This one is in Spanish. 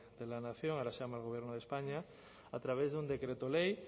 de la nación ahora se llama el gobierno de españa a través de un decreto ley